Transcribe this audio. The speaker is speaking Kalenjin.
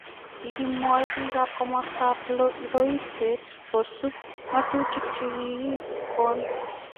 Kogimwoi biik ab komosto ab loiset kosib ngotutik chekikigo.